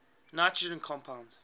nitrogen compounds